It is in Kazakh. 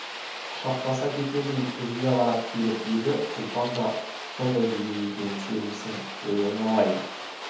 құшақтаса кетердей үзіле қарап келіп еді ұлпан да сондай күйде екен сенбісің-ей айналайын